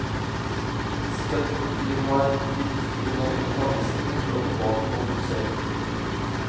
Støtten de har gitt fundamentalistene, slår tilbake mot dem selv.